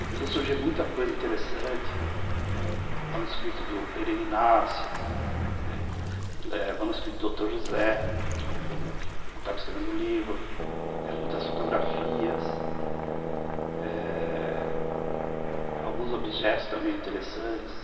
E começou a surgir muita coisa interessante, manuscrito do Pereira Inácio, manuscrito do Dr. José, quando ele estava escrevendo o livro, muitas fotografias, alguns objetos também interessantes.